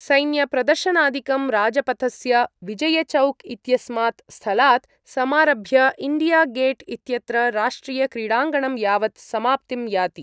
सैन्यप्रदर्शनादिकं राजपथस्थ विजयचौक् इत्यस्मात् स्थलात् समारभ्य इण्डिया गेट् इत्यत्र राष्ट्रियक्रीडाङ्गणं यावत् समाप्तिं याति।